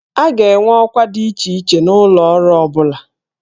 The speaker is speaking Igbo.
A ga-enwe ọkwa dị iche iche n'ụlọ ọrụ ọ bụla